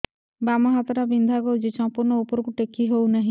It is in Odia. ବାମ ହାତ ଟା ବିନ୍ଧା କରୁଛି ସମ୍ପୂର୍ଣ ଉପରକୁ ଟେକି ହୋଉନାହିଁ